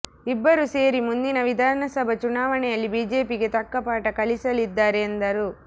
ಇಬ್ಬರು ಸೇರಿ ಮುಂದಿನ ವಿಧಾನಸಭಾ ಚುನಾವಣೆಯಲ್ಲಿ ಬಿಜೆಪಿಗೆ ತಕ್ಕ ಪಾಠ ಕಲಿಸಲಿದ್ದಾರೆ ಎಂದರು